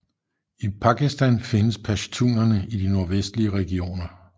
I Pakistan findes pashtunerne i de nordvestlige regioner